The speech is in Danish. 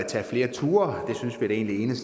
energien